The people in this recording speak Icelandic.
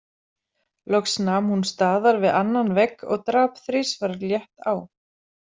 Loks nam hún staðar við annan vegg og drap þrisvar létt á.